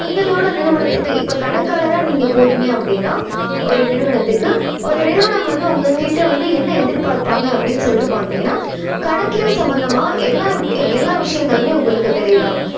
அவங்களோட நிறுவனத்துக்கு இப்போ கணக்காளரா நீங்க போறீங்க அப்படின்னா ஒரு நிறுவனத்துக்கு ஒரு நிறுவனம் வந்து உங்க கிட்டவந்து என்ன எதிர்பார்ப்பாங்க அப்படின்னு சொல்லிட்டு பாத்தீங்கன்னா கணக்கியல் சம்மந்தமா எல்லா எல்லா விஷயங்களுமே உங்களுக்கு தெரியுதா?